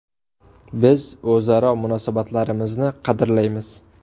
Biz o‘zaro munosabatlarimizni qadrlaymiz.